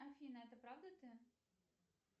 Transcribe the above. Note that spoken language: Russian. афина это правда ты